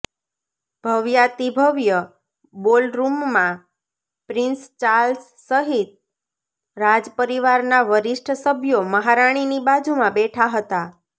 ભવ્યાતિભવ્ય બોલરૂમમાં prince Charles સહિત રાજપરિવારના વરિષ્ઠ સભ્યો મહારાણીની બાજુમાં બેઠા હતા